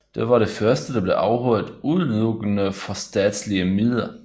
Det var det første der blev afholdt udelukkende for statslige midler